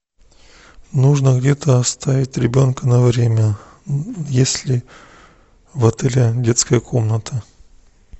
нужно где то оставить ребенка на время есть ли в отеле детская комната